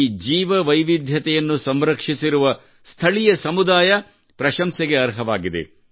ಈ ಜೀವವೈವಿಧ್ಯವನ್ನು ಸಂರಕ್ಷಿಸಿರುವ ಸ್ಥಳೀಯ ಸಮುದಾಯ ಪ್ರಶಂಸೆಗೆ ಅರ್ಹವಾಗಿದೆ